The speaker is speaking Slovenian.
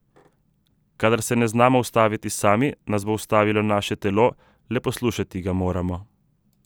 Kadar se ne znamo ustaviti sami, nas bo ustavilo naše telo, le poslušati ga moramo.